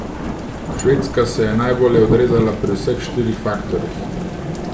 Švedska se je najbolje odrezala pri vseh štirih faktorjih.